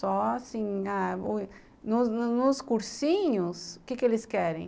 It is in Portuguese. Só assim ah, nos nos cursinhos, o que que eles querem?